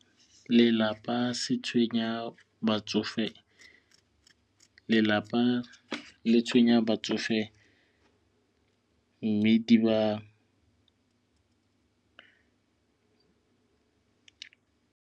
Lelapa se tshwenya batsofe lelapa le tshwenya batsofe mme di ba.